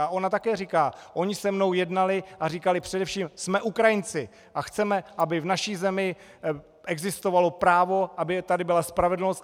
A ona také říká: "Oni se mnou jednali a říkali, především jsme Ukrajinci a chceme, aby v naší zemi existovalo právo, aby tady byla spravedlnost.